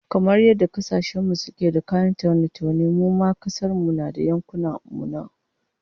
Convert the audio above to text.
Kamar yadda kasashen duniya suke da kayan taune-taune, mu ma a kasar mu da yankunan mu akwai namu